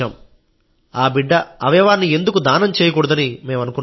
ఈ బిడ్డ అవయవాన్ని ఎందుకు దానం చేయకూడదని మేం అనుకున్నాం